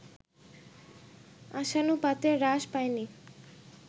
আশানুপাতে হ্রাস পায়নি